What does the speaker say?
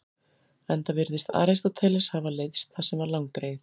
Enda virðist Aristóteles hafa leiðst það sem var langdregið.